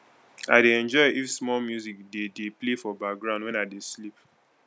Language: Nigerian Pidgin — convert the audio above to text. i dey enjoy if small music dey dey play for background wen i dey sleep